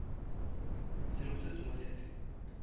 selo se sengwe se se